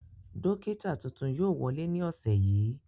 Dókítà tuntun yóò wọlé ní ọ̀sẹ̀ yìí